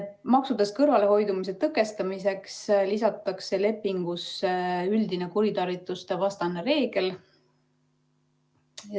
Maksudest kõrvalehoidmise tõkestamiseks lisatakse lepingusse üldine kuritarvitustevastane reegel.